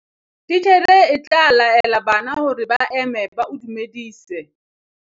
titjhere e tla laela bana hore ba eme ba o dumedise